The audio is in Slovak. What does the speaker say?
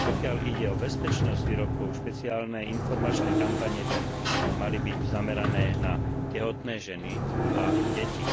Pokiaľ ide o bezpečnosť výrobkov, špeciálne informačné kampane by mali byť zamerané na tehotné ženy a deti.